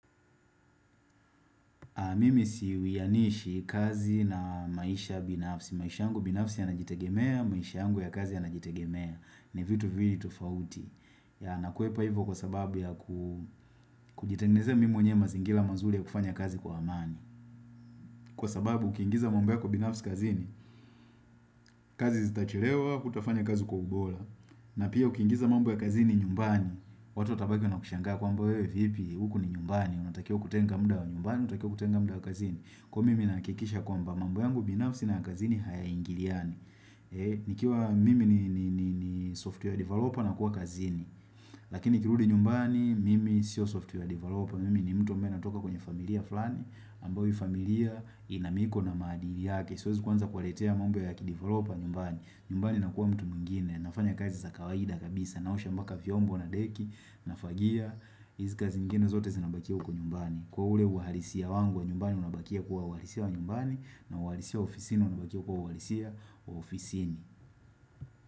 Mimi siwianishi kazi na maisha binafsi. Maisha yangu binafsi ya najitegemea, maisha yangu ya kazi ya najitegemea. Ni vitu viwili tofauti. Ya nakuepa hivo kwa sababu ya kujitengenezea mimi mwenyewe mazingila mazuli ya kufanya kazi kwa amani. Kwa sababu, ukiingiza mambo yako binafsi kazi ni. Kazi zita chelewa, kutafanya kazi kwa ubola. Na pia, ukiingiza mambo ya kazi ni nyumbani. Watu watabaki wanakushangaa kwamba wewe vipi, uku ni nyumbani. Unatakiwa kutenga mda wa nyumbani, unatakiwa kutenga mda wa kazini Kwa mimi nakikisha kwamba mambo yangu binafsi na ya kazini haya ingiliani nikiwa mimi ni software developer na kuwa kazini Lakini nikirudi nyumbani mimi sio software developer Mimi ni mtu amabaye natoka kwenye familia flani ambao hii familia inamiko na maadili yake Siwezi kuanza kuwaletea mambo ya kideveloper nyumbani nyumbani na kuwa mtu mwingine, nafanya kazi za kawaida kabisa Naosha mpaka viombo na deki, nafagia hizi kazi zingine zote zinabakia uko nyumbani Kwa ule uhalisia wangu wa nyumbani Unabakia kuwa uhalisia wa nyumbani na uhalisia wa ofisini Unabakia kuwa uhalisia wa ofisini.